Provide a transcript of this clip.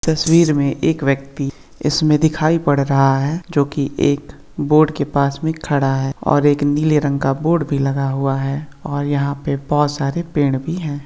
तस्वीर में एक व्यक्ति इसमें दिखाई पड़ रहा है जो कि एक बोर्ड के पास में खड़ा है और एक नीले रंग का बोर्ड भी लगा हुआ है और यहाँ पे बहोत सारे पेड़ भी हैं।